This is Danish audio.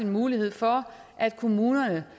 mulighed for at kommunerne